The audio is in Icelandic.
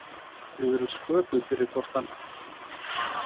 Við erum sköpuð fyrir hvort annað.